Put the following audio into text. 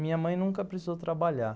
Minha mãe nunca precisou trabalhar.